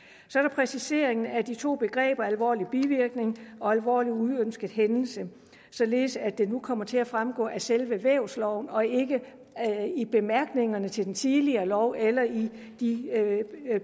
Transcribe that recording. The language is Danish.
præciseringen af de to begreber alvorlig bivirkning og alvorlig uønsket hændelse således at det nu kommer til at fremgå af selve vævsloven og ikke i bemærkningerne til den tidligere lov eller i de